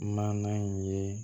Maana in ye